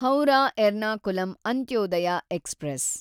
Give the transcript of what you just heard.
Howrah Ernakulam Antyodaya express